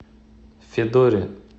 федоре